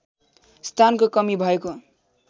स्थानको कमी भएको